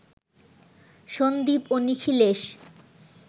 সন্দীপ ও নিখিলেশ